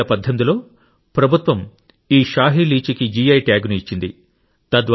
2018 లో ప్రభుత్వం ఈ షాహి లీచీకి జిఐ ట్యాగ్ను ఇచ్చింది